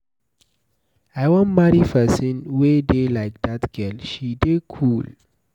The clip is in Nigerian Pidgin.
I wan marry person wey dey like dat girl, she dey cool.